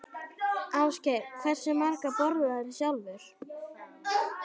Ásgeir: Hversu margar borðarðu sjálfur?